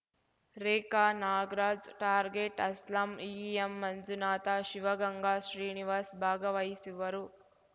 ರೇಖಾ Nagraj target Aslam E M Manjunatha Shivaganga Srinivas ಭಾಗವಹಿಸುವರು